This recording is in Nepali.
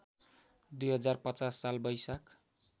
२०५० साल वैशाख